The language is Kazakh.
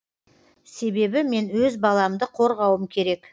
себебі мен өз баламды қорғауым керек